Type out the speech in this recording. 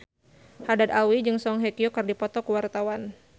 Haddad Alwi jeung Song Hye Kyo keur dipoto ku wartawan